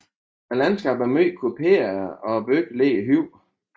Landskabet er meget kuperet og byen ligger højt